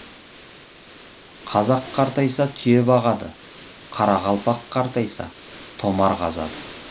қазақ қартайса түйе бағады қарақалпақ қартайса томар қазады